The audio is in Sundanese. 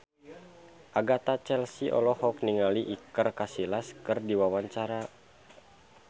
Agatha Chelsea olohok ningali Iker Casillas keur diwawancara